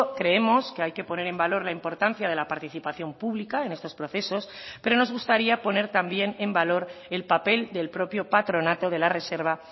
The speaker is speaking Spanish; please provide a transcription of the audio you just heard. creemos que hay que poner en valor la importancia de la participación pública en estos procesos pero nos gustaría poner también en valor el papel del propio patronato de la reserva